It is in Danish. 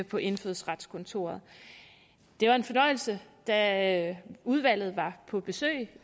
på indfødsretskontoret det var en fornøjelse da udvalget var på besøg